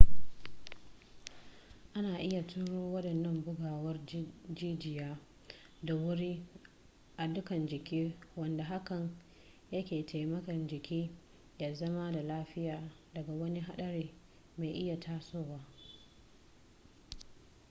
ana iya turo waɗannan bugawar jijiya da wuri a dukkan jiki wanda hakan yake taimaka jikin ya zama da lafiya daga wani haɗari mai iya tasowa